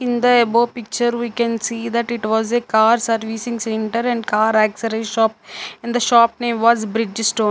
in the above picture we can see that it was a car servicing centre and car shop and the shop name was bridge stone.